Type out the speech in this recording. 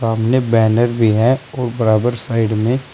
सामने बैनर भी है और बराबर साइड में--